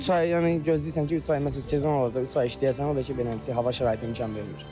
Üç ay yəni gözləyirsən ki, üç ay məsəl üçün sezon olacaq, üç ay işləyəcəksən, o da ki, belə hava şəraiti imkan vermir.